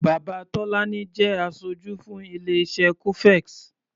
Bàbá Tọ́lání jẹ́ aṣojú fún ilé-iṣé cofex.